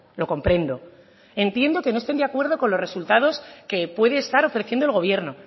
lo comprendo entiendo que no estén de acuerdo con los resultados que puede estar ofreciendo el gobierno